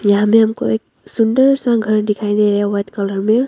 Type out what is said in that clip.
यहां में हमको एक सुंदर सा घर दिखाई दे रहा है वाइट कलर में।